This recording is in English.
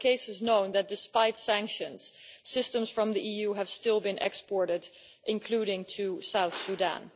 There are known cases where, despite sanctions, systems from the EU have still been exported, including to South Sudan.